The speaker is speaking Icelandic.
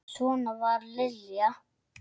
Svona var Lilja.